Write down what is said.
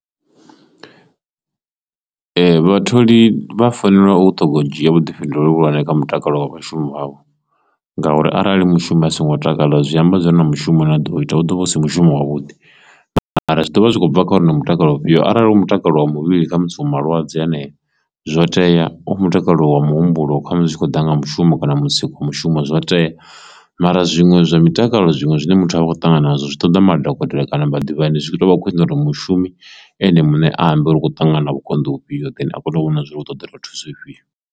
vhatholi vha fanela u ṱhoga u dzhia vhuḓifhinduleli vhuhulwane kha mutakalo wa vhashumi vhavho ngauri arali mushumi a songo takala zwi amba zwori na mushumo na do ita u ḓo vha u si mushumo wa vhuḓi, mara zwi ḓovha zwi khou bva kha uri u na mutakalo ufhio arali u mutakalo wa muvhili kha musi wo malwadze aneyo zwo tea u mutakalo wa muhumbulo kwamusi zwi kho ḓa nga mushumo kana musi kha mushumo zwo tea, mara zwiṅwe zwa mutakalo zwiṅwe zwine muthu a vha khou ṱangana nazwo zwi ṱoḓa madokotela kana vhaḓivhi zwino zwi tovha khwine uri mushumi ene muṋe a ambe ri kho ṱangana vhukonḓi u fhio then a kone u vhona zwori u ṱoḓelwa thuso ifhio.